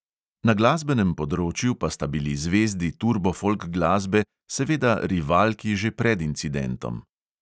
Na glasbenem področju pa sta bili zvezdi turbo folk glasbe seveda rivalki že pred incidentom.